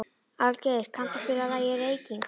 Aðalgeir, kanntu að spila lagið „Reykingar“?